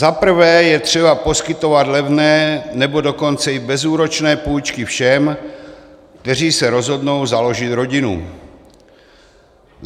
Za prvé je třeba poskytovat levné, nebo dokonce i bezúročné půjčky všem, kteří se rozhodnou založit rodinu.